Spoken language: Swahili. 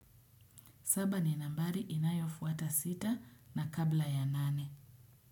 Saba ni nambari inayofuata sita na kabla ya nane.